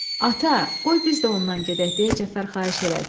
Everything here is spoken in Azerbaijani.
Ata, qoy biz də ondan gedək, deyə Cəfər xahiş elədi.